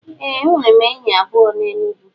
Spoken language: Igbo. Ee enwerem enyi abuo n'Enugwu.